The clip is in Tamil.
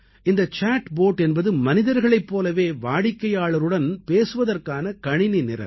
இந்த சாட் போட் என்பது மனிதர்களைப் போலவே வாடிக்கையாளருடன் பேசுவதற்கான கணினி நிரல்